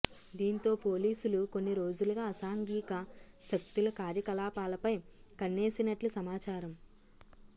దీంతో పోలీసులు కొన్ని రోజులుగా అసాంఘిక శక్తుల కార్యకలాపాలపై కన్నేసినట్లు సమాచారం